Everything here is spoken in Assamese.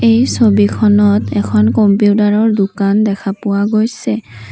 এই ছবিখনত এখন কম্পিউটাৰৰ দোকান দেখা পোৱা গৈছে।